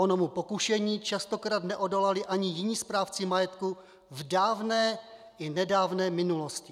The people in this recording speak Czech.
Onomu pokušení častokrát neodolali ani jiní správci majetku v dávné i nedávné minulosti.